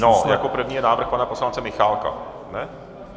No, jako první je návrh pana poslance Michálka.